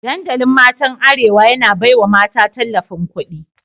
Dandalin matan arewa, yana baiwa mata tallafin kudi